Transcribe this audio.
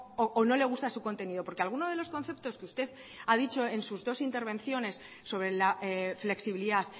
o no le gusta su contenido porque alguno de los conceptos que usted ha dicho en sus dos intervenciones sobre la flexibilidad